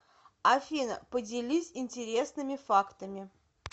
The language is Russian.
афина поделись интересными фактами